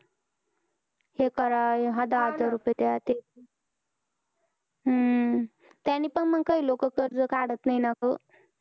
ते करा दहा दहा हजार रुपये द्या. ते हम्म त्यांनी पण मंग काही लोक कर्ज काढत नाही ना ग.